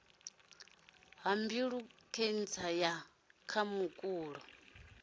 ha mbilu khentsa ya khamukulo